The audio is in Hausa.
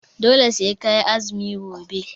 Dole sai ka yi azumi gobe!